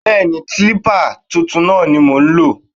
Bẹẹni, kilipa tuntun náà ni mo ń lò.